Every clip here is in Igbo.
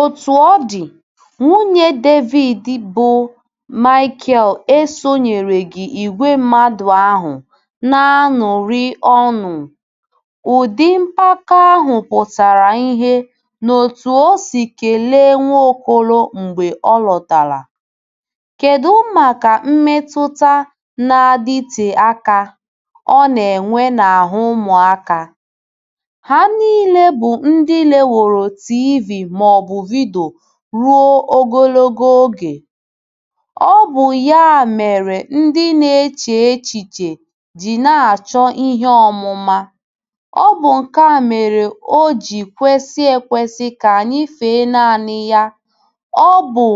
Otú ọ dị, nwunye Devid bụ́ Maikel, esonyereghị ìgwè mmadụ ahụ na - aṅụrị ọṅụ Ụdị mpako ahụ pụtara ìhè n’otú o si kelee Nwaokolo mgbe ọ lọtara. Kedu maka mmetụta na - adịte aka ọ na - enwe n’ahụ́ ụmụaka? Ha niile bụ ndị leworo TV maọbụ vidio ruo ogologo oge. Ọ bụ ya mere ndị na - eche echiche ji na - achọ ihe ọmụma. Ọ bụ nke a mere o ji kwesị ekwesị ka anyị fee naanị ya Ọ bụ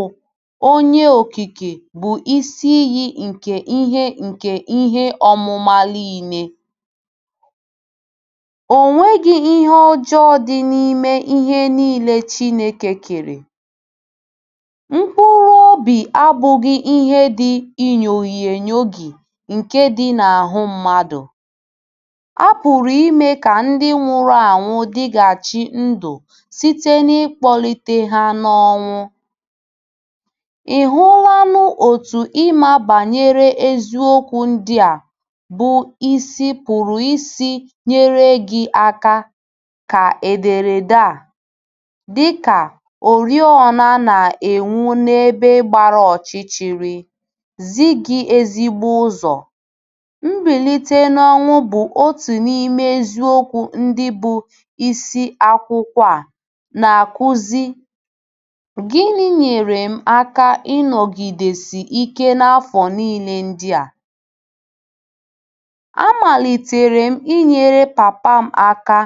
Onye Okike bụ Isi Iyi nke ihe nke ihe ọmụma niile. O nweghi ihe ọjọọ dị n’ime ihe niile Chineke kere. Mkpụrụ obi abụghị ihe dị inyoghi inyoghi nke dị n’ahụ́ mmadụ. A pụrụ ime ka ndị nwụrụ anwụ dịghachi ndụ site n’ịkpọlite ha n’ọnwụ. Ị̀ hụlanụ otú ịma banyere eziokwu ndị a bụ́ isi pụrụ isi nyere gị aka Ka ederede a, dị ka “ oriọna na - enwu n’ebe gbara ọchịchịrị, ” zi gị ezigbo ụzọ. Mbilite n’ọnwụ bụ otu n’ime eziokwu ndị bụ́ isi akwụkwọ a na - akụzi Gịnị nyeere m aka ịnọgidesi ike n’afọ niile ndị a? A malitere m inyere papa m aka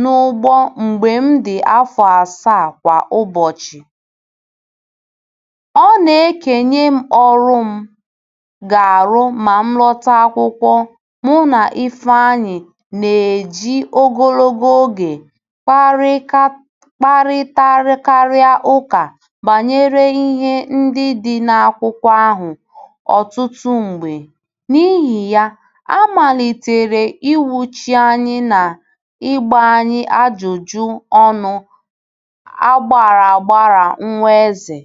n’ugbo mgbe m dị afọ asaa Kwa ụbọchị, ọ na - ekenye m ọrụ m ga - arụ ma m lọta akwụkwọ Mụ na Ifeanyi na - eji ogologo oge kparika a kparịtakarị ụka banyere ihe ndị dị na akwụkwọ ahụ ọtụtụ mgbe. N’ihi ya, a malitere inwuchi anyị na ịgba anyị ajụjụ ọnụ aghara aghara Nwa Eze